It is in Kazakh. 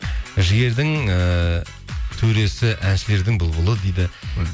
жігердің ііі төресі әншілердің бұлбұлы дейді